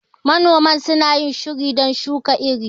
Manoman suna yin shiri don shuka iri.